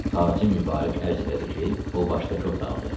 Xacə Mübarək ərz elədi ki, o başdakı otaqdır.